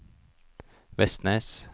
Vestnes